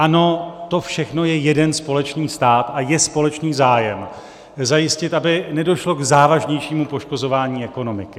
Ano, to všechno je jeden společný stát a je společný zájem zajistit, aby nedošlo k závažnějšímu poškozování ekonomiky.